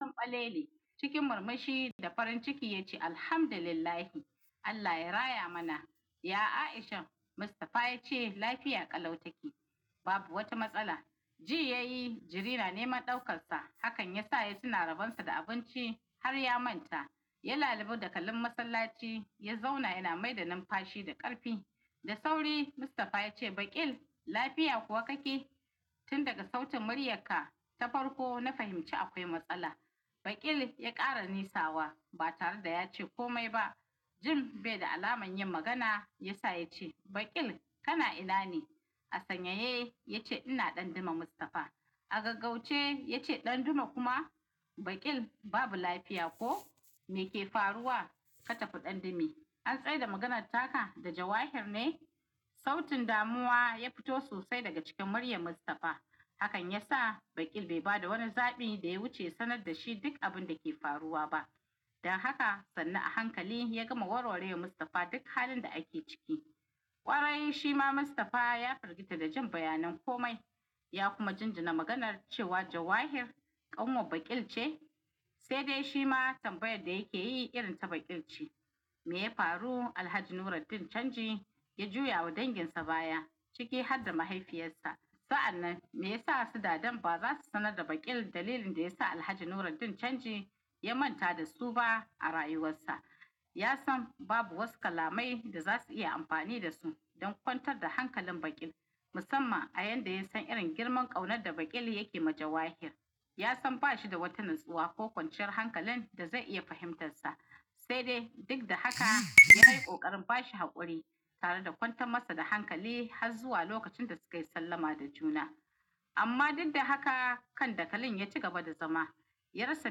Balele cikin murmushi da farin ciki ya ce "Alhamdulillah, Allah ya raya mana." Ya Aishan, Mustafa ya ce lafiya ƙalau ta ke. Babu wata matsala. Ji yai jiri na neman ɗaukarsa. Hakan ya sa ya tuna rabonsa da abinci har ya manta. Ya lalibo dakalin masallaci, ya zauna yana maida numfashi da ƙarfi. Da sauri Mustafa ya ce "Baƙil, lafiya kuwa kake?" tun daga sautin muryanka ta farko na fahimci akwai matsala Baƙil ya ƙara nisawa ba tare da ya ce kome ba. Jin be da alaman yin magana ya sa ya ce Baƙil kana ina ne? A sanyaye ya ce "ina danduma Mustafa." A gaggauce ya ce "Ɗanduma kuma Baƙil babu lafiya ko me ke faruwa? Ka tafi ɗandume." An tsaida maganar taka da jawahir ne. Sautin damuwa ya fito sosai daga cikin muryan Mustafa. Hakan ya sa Baƙil be ba da wani zaɓi da ya wuce ya sanar da shi duk abun da ke faruwa ba. Don haka sunnu a hankali ya gama warware wa Mustafa duk halin da ake ciki. Ƙwarai shi ma Mustafa ya fargita da jin bayanan kome, ya kuma jinjina maganar cewa jawahir ƙanwan Baƙil ce. Sai dai shi ma tambayar da yake yi irin ta Baƙil ce. Me ya faru? Alhaji nuraddin canji ya juyawa danginsa baya ciki hadda mahaifiyarsa sa'an nan me yasa su dadan ba za su sanar da Baƙil dalilin da ya sa Alhaji Nuruddin Canji ya manta da su ba a rayuwarsa. Ya san babu wasu kalamai da za su iya amfani da su don kwantar da hankalin Bakil. Musamman a yanda ya san irin girman ƙaunar da Baƙil yake ma jawahir. Ya san ba shi da wata natsuwa ko kwanciyar hankalin da zai iya fahimtarsa. Se dai duk da haka ya yi ƙoƙarin ba shi haƙuri tare da kwantan masa da hankali har zuwa lokacin da sukai sallama da juna. Amma duk da haka kan dakalin ya cigaba da zama. Ya rasa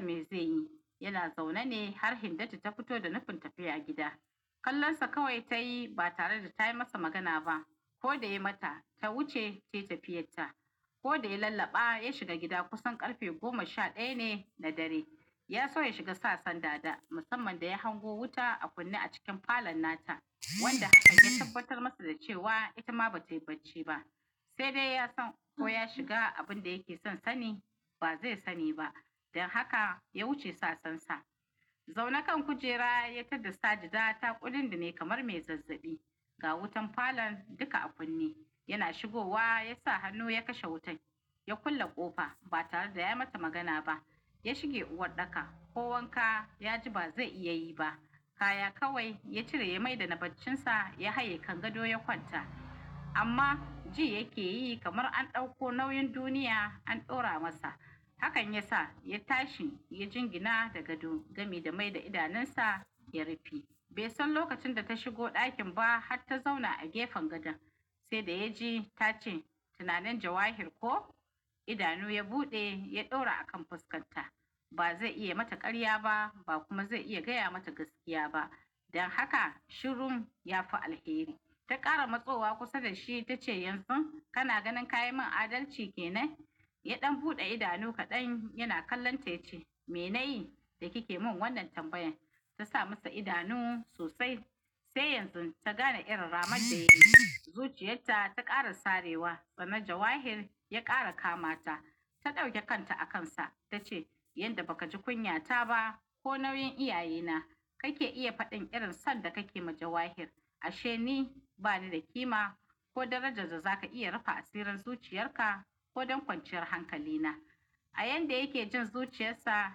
me ze yi. Yana zaune ne har hindatu ta fito da nufin tafiya gida. Kallon sa kawai tai ba tare da ta yi masa magana ba. Ko da yai mata, ta wuce tai tafiyarta. Ko da ya lallaɓa ya shiga gida kusan ƙarfe goma sha ɗaya ne na dare. Ya so ya shiga sasan dada. Musamman da ya hango wuta a kunne a cikin falon nata. Wanda hakan ya tabbatar masa da cewa ita ma ba tai bacci ba. Sai dai ya san ko ya shiga abun da yake son sani ba ze sani ba. Don haka ya wuce sasansa. Zaune kan kujera ya tadda Sajida taƙudindine kamar me zazzaɓi. Ga wutan falon duka a kunne. Yana shigowa ya sa hannu ya kashe wutai. Ya kulle ƙofa ba tare da ya yi mata magana ba. Ya shige uwarɗaka ko wanka ya ji ba ze iya yi ba. Kaya kawai ya cire ya maida na bacinsa ya haye kan gado ya kwanta. Amma ji yake yi kamar an ɗauko nauyin duniya an ɗora masa. Hakan ya sa ya tashi ya jingina da gado gami da mai da idanunsa ya rife. Bai san lokacin da ta shigo ɗakin ba hatta zauna a gefen gadon. Se da ya ji ta ce "Tunanin jawahir ko?" Idanu ya buɗe ya ɗora a kan fuskarta. Ba zai iya mata ƙarya ba, ba kuma zai iya gaya mata gaskiya ba. Don haka shirum ya fi alheri. Ta ƙara matsowa kusa da shi ta ce "Yanzu kana ganin ka yi man adalci ke nan?" Ya ɗan buɗe idanu kaɗan yana kallon ta yace "Me na yi da kike mun wannan tambayan?" ta sa masa idanu sosai sai yanzu ta gane irin ramar da ya yi. Zuciyarta ta ƙara sarewa. Tsana jawahir ya ƙara kama ta. Ta ɗauke kanta a kansa ta ce "Yanda baka ji kunyata ba ko nauyin iyaye na kake iya faɗin irin son da kake ma jawahir." Ashe ni bani da kima ko darajar da za ka iya rufa asirin zuciyarka ko don kwanciyar hankali na. A yanda yake jin zuciyarsa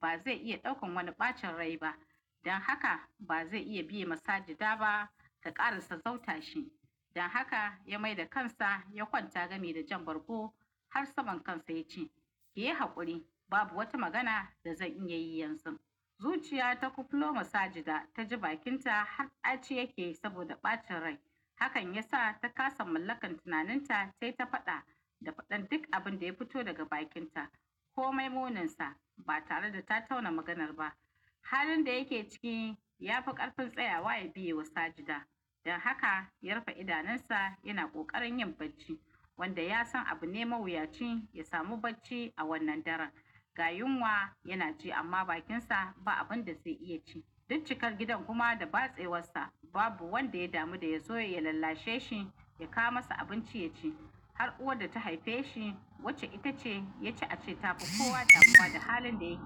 ba zai iya ɗaukan wani ɓacin rai ba. Don haka ba zai iya biya ma Sajida ba ta ƙarasa zauta shi. Don haka ya mai da kansa ya kwanta gami da jan bargo har saman kansa ya ce "ki yi haƙuri babu wata magana da zan iya yi yanzun." Zuciya ta kufulo ma Sajida ta ji bakinta har ɗaci yake saboda ɓacin rai. Hakan ya sa ta kasa mallakan tunaninta. Tai ta faɗa da faɗan duk abin da ya fito daga bakinta. Komai muninsa ba tare da ta tauna maganar ba. Halin da yake ciki ya fi ƙarfin tsayawa ya biya wa Sajida. Don haka ya rufe idanunsa yana ƙoƙarin yin bacci. Wanda ya san abu ne mawuyaci ya samu bacci a wannan daren. Ga yunwa yana ji amma bakinsa ba abun da ze iya ci duk cikar gidan kuma da batsewarsa babu wanda ya damu da ya zo ya lallashe shi ya kawo masa abinci ya ci. Har uwar da ta haife shi wacce ita ce yaci a ce tafi kowa damuwa da halin da yake.